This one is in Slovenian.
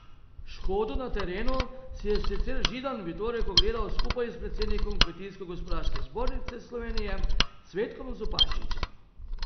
Škodo na terenu si je sicer Židan v torek ogledal skupaj s predsednikom Kmetijsko gozdarske zbornice Slovenije Cvetkom Zupančičem.